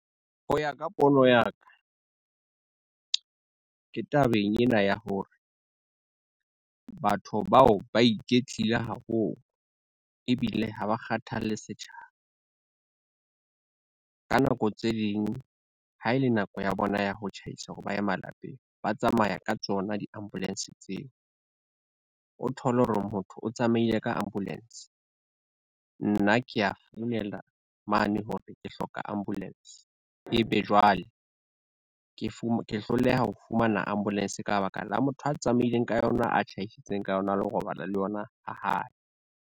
Ho ya ka pono ya ka, ke tabeng ena ya hore, batho bao ba iketlile haholo ebile ha ba kgathalle setjhaba. Ka nako tse ding ha ele nako ya bona ya ho tjhaisa hore ba ye malapeng, ba tsamaya ka tsona di-ambulance tseo. O thole hore motho o tsamaile ka ambulence, nna keya founela mane hore ke hloka ambulance ebe jwale ke hloleha ho fumana ambulance ka ba la motho a tsamaileng ka yona, a tjhaisitseng ka yona a lo robala le yona ha hae.